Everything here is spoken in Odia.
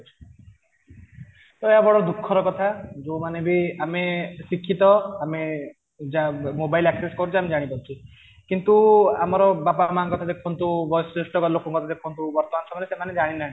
ତ ଏହା ବଡ଼ ଦୁଃଖ ର କଥା ଯୋଉ ମାନେ ବି ଆମେ ଶିକ୍ଷିତ ଆମେ mobile access କରୁଛେ ଜାଣିପାରୁଛେ କିନ୍ତୁ ଆମର ବାପା ମାଙ୍କ କଥା ଦେଖନ୍ତୁ ଲୋକଙ୍କ କଥା ଦେଖନ୍ତୁ ବର୍ତ୍ତମାନ ସମୟରେ ସେମାନେ ଜାଣିନାହାନ୍ତି